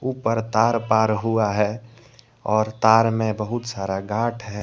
ऊपर तार पार हुआ है और तार में बहुत सारा गांठ है।